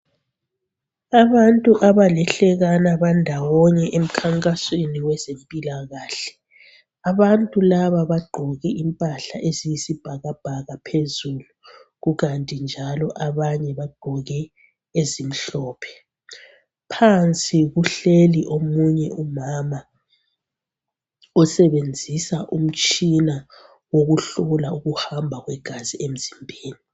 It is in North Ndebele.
Abantu abalihlekana bandawonye emkhankasweni wezempilakahle. Abantu laba bagqoke impahla eziyisibhakabhaka phezulu, kukanti njalo abanye abagqoke ezimhlophe. Phansi kuhleli omunye umama osebenzisa umtshina wokuhlola ukuhamba kwegazi emzimbeni.